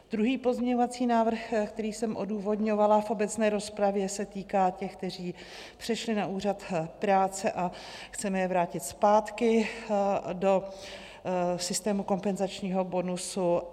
Druhý pozměňovací návrh, který jsem odůvodňovala v obecné rozpravě, se týká těch, kteří přešli na úřad práce a chceme je vrátit zpátky v systému kompenzačního bonusu.